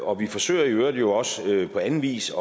og vi forsøger i øvrigt også på anden vis